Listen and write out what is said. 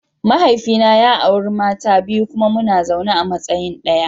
Mahaifina ya auri mata biyu kuma muna zaune a matsayin daya.